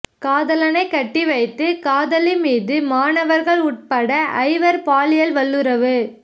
காதலனைக் கட்டி வைத்து காதலி மீது மாணவர்கள் உட்பட ஐவர் பாலியல் வல்லுறவு